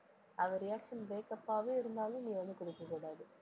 அவ reaction breakup ஆவே இருந்தாலும் நீ வந்து குடுக்கக்கூடாது